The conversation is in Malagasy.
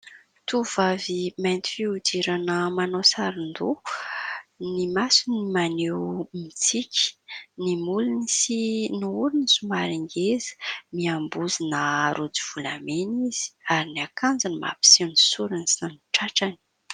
Tovovavy mainty fihodirana manao saron-doha, ny masony maneho mitsiky, ny molony sy ny orony somary ngeza, miambozona rojo volamena izy ary ny akanjony mampiseho ny sorony sy ny tratrany.